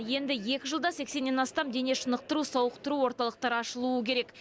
енді екі жылда сексеннен астам дене шынықтыру сауықтыру орталықтары ашылуы керек